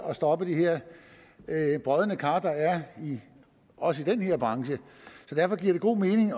at stoppe de her brodne kar der er også i den her branche så derfor giver det god mening